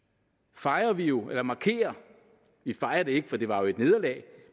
fejrer vi jo eller markerer vi fejrer det ikke for det var jo et nederlag